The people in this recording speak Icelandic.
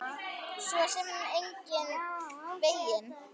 Svo sem engan veginn